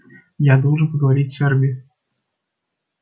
я должен поговорить с эрби